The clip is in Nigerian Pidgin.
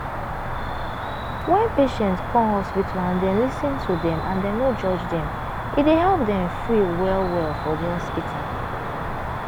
wen patient come hospital and dem lis ten to dem and dem no judge dem e dey help dem free well well for di hospital.